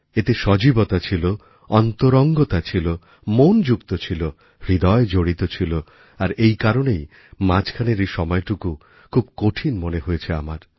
এতে সজীবতা ছিল অন্তরঙ্গতা ছিল মন যুক্ত ছিল হৃদয় জড়িত ছিল আর এই কারণেই মাঝখানের এই সময়টুকু খুব কঠিন মনে হয়েছে আমার